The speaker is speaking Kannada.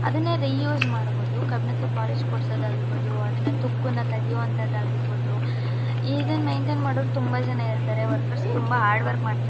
ಅದನ್ನೇ ರೀ ಯೂಸ್ ಮಾಡಬಹುದು ಕಬ್ಬಿಣಕ್ಕೆ ಪೋಲಿಷ್ ಕೊಡ್ಸೋದಾಗಿರಬಹುದು ಅದನ್ನ ತುಕ್ಕು ನ ತೆಗಿಯೋ ಅಂಥದ್ದಾಗಿರಬಹುದು ಹೀಗೆ ಮೈಂಟೈನ್ ಮಾಡೋರು ತುಂಬಾ ಜನ ಇರ್ತರೆ ವರ್ಕರ್ಸ್ ತುಂಬಾ ಹಾರ್ಡ್ ವರ್ಕ್ ಮಾಡ್ತಾರೆ.